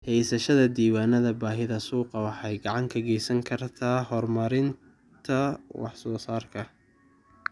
Haysashada diiwaannada baahida suuqa waxay gacan ka geysan kartaa horumarinta wax soo saarka.